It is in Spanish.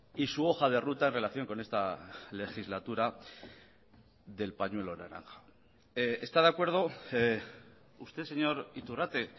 y su hoja de ruta en relación con esta legislatura del pañuelo naranja está de acuerdo usted señor iturrate